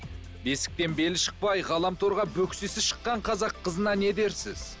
бесіктен белі шықпай ғаламторға бөксесі шыққан қазақ қызына не дерсіз